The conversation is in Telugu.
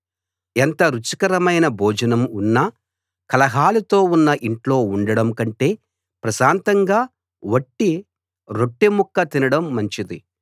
ఎంత రుచికరమైన భోజనం ఉన్నా కలహాలతో ఉన్న ఇంట్లో ఉండడం కంటే ప్రశాంతంగా వట్టి రొట్టెముక్క తినడం మంచిది